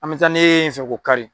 An bɛ taa ne ye n fɛ k'o kari